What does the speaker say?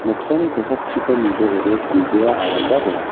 noksani kosakchiko nidoode silbea aramba donga.